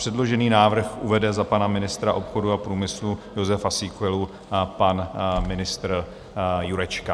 Předložený návrh uvede za pana ministra obchodu a průmyslu Jozefa Síkelu pan ministr Jurečka.